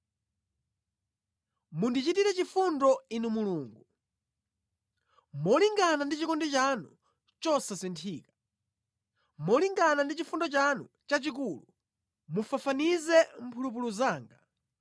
Mundichitire chifundo, Inu Mulungu, molingana ndi chikondi chanu chosasinthika; molingana ndi chifundo chanu chachikulu mufafanize mphulupulu zanga.